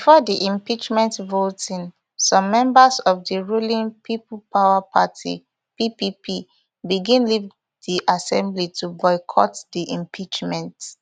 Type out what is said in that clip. bifor di impeachment voting some members of di ruling people power party ppp begin leave di assembly to boycott di impeachment